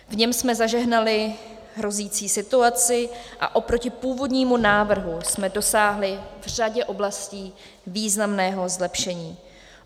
V něm jsme zažehnali hrozící situaci a oproti původnímu návrhu jsme dosáhli v řadě oblastí významného zlepšení.